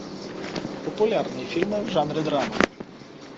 популярные фильмы в жанре драма